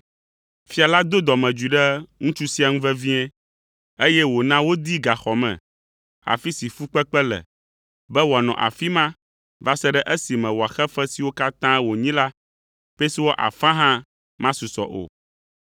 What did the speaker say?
Fia la do dɔmedzoe ɖe ŋutsu sia ŋu vevie, eye wòna wodee gaxɔ me, afi si fukpekpe le, be wòanɔ afi ma va se ɖe esime wòaxe fe siwo katã wònyi la, pesewa afã hã masusɔ o.